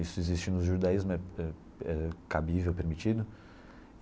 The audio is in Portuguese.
Isso existe no judaísmo, é é é cabível, permitido.